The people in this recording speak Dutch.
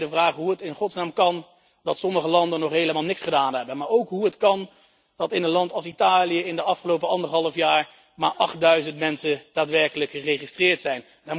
Dan stel ik mij de vraag hoe het in godsnaam kan dat sommige landen nog helemaal niks hebben gedaan, maar ook hoe het kan dat in een land als Italië in de afgelopen anderhalf jaar maar achtduizend mensen daadwerkelijk geregistreerd zijn.